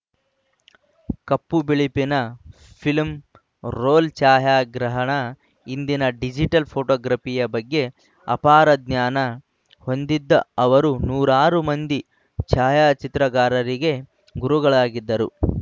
ಕಪ್ಪು ಬಿಳುಪಿನ film roll ಛಾಯಾಗ್ರಹಣ ಇಂದಿನ ಡಿಜಿಟಲ್‌ ಫೋಟೋಗ್ರಫಿಯ ಬಗ್ಗೆ ಅಪಾರ ಜ್ಞಾನ ಹೊಂದಿದ್ದ ಅವರು ನೂರಾರು ಮಂದಿ ಛಾಯಾಚಿತ್ರಗಾರರಿಗೆ ಗುರುಗಳಾಗಿದ್ದರು